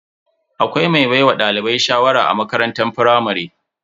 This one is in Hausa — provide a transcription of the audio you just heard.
Akwai mai baiwa dalibai shawara a makarantar firamare.